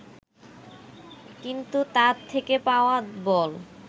কিন্তু তার থেকে পাওয়া বল